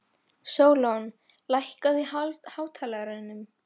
Sólon, lækkaðu í hátalaranum.